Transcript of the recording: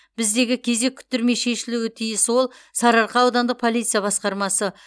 біздегі кезек күттірмей шешілуі тиіс ол сарыарқа аудандық полиция басқармасы